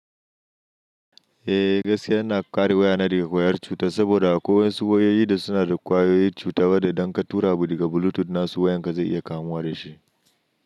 Eh, gaskiya yana ƙare waya na daga wayar cuta saboda a koyaushe wayoyi da suna da kwayoyin cuta, wada idan ka tura wuta daga Bluetooth na su wayan ka zai iya kamuwa da shi.